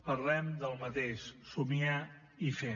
parlem del mateix somiar i fer